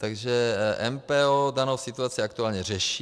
Takže MPO danou situaci aktuálně řeší.